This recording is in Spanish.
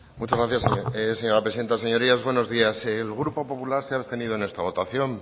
muchas gracias señora presidenta señorías buenos días el grupo popular se ha abstenido en esta votación